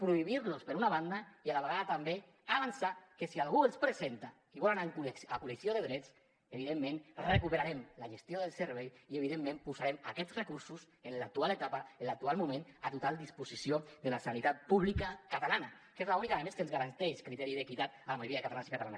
prohibir los per una banda i a la vegada també avançar que si algú els presenta i vol anar a col·lisió de drets evidentment recuperarem la gestió del servei i evidentment posarem aquests recursos en l’actual etapa en l’actual moment a total disposició de la sanitat pública catalana que és l’única a més que ens garanteix criteri d’equitat a la majoria de catalans i catalanes